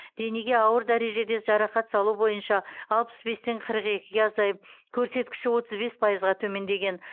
денеге ауыр дәрежеде жарақат салу бойынша алпыс бестен қырық екіге азайып көрсеткіші отыз бес пайызға төмендеген